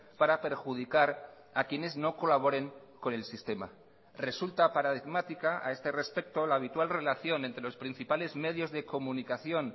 para perjudicar a quienes no colaboren con el sistema resulta paradigmática a este respecto la habitual relación entre los principales medios de comunicación